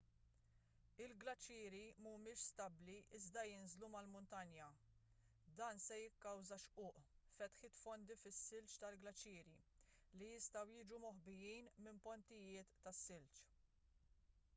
il-glaċieri mhumiex stabbli iżda jinżlu mal-muntanja dan se jikkawża xquq fetħiet fondi fis-silġ tal-glaċieri li jistgħu jiġu moħbijin minn pontijiet tas-silġ